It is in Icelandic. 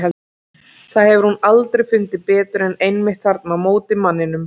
Það hefur hún aldrei fundið betur en einmitt þarna á móti manninum.